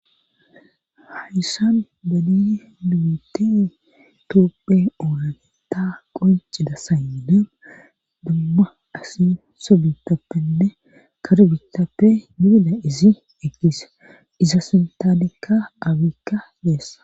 hayssan badidi dubitte toopphe oonagenta qoncida saynena dumma asi sobitappenne karbitappe dibida izi ekise iza sintaadekka abikka deessa